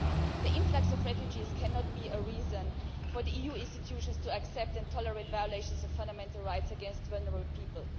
The influx of refugees cannot be a reason for the EU institutions to accept and tolerate violations of fundamental rights against vulnerable people.